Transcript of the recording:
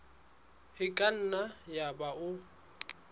e ka nna yaba o